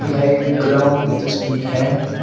यह एक ग्राउंड की तस्वीर है।